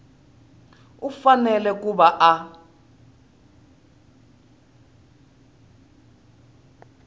u fanele ku va a